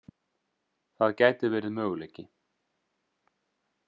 Það gæti verið möguleiki.